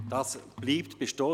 Dies bleibt bestehen.